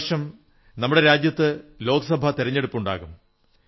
ഈ വർഷം നമ്മുടെ രാജ്യത്ത് ലോക്സഭാ തിരഞ്ഞെടുപ്പുണ്ടാകും